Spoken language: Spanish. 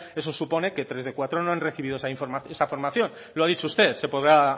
eso supone que tres de cuatro no han recibido esa formación lo ha dicho usted se podrá